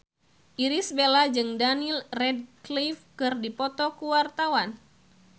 Irish Bella jeung Daniel Radcliffe keur dipoto ku wartawan